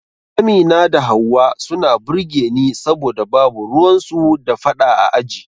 Amina da Hauwa suna burge ni saboda babu ruwan su da fada a aji